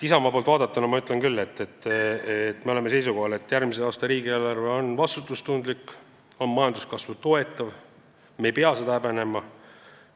Isamaa poolt vaadatuna ma ütlen küll, et me oleme seisukohal, et järgmise aasta riigieelarve on vastutustundlik ja majanduskasvu toetav ning me ei pea seda häbenema.